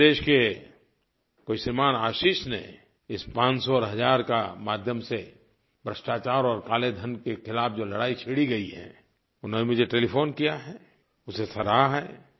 मध्य प्रदेश के कोई श्रीमान आशीष ने इस पाँच सौ और हज़ार के माध्यम से भ्रष्टाचार और काले धन के ख़िलाफ़ जो लड़ाई छेड़ी गयी है उन्होंने मुझे टेलीफ़ोन किया है उसे सराहा है